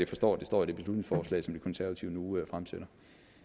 forstår at det står i det beslutningsforslag som de konservative nu fremsætter